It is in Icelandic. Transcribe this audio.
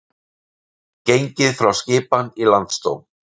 Gengið frá skipan í Landsdóm